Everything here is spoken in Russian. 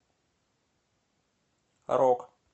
рок